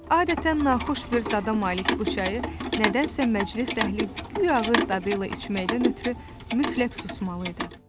Adətən naxoş bir dada malik bu çayı nədənsə məclis əhli guya ağız dadı ilə içməkdən ötrü mütləq susmalı idi.